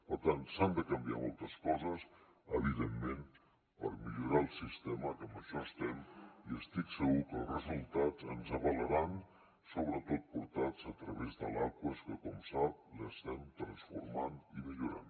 per tant s’han de canviar moltes coses evidentment per millorar el sistema que en això estem i estic segur que els resultats ens avalaran sobretot portats a través de l’aquas que com sap l’estem transformant i millorant